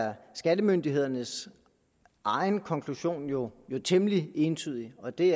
er skattemyndighedernes egen konklusion jo temmelig entydig og det